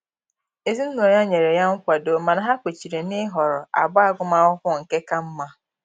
Ezinụlọ ya nyere ya nkwado mana ha kwechiri na-ịhọrọ agba agụmakwụkwọ nke ka mma